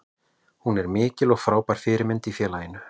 Hún er mikil og frábær fyrirmynd í félaginu.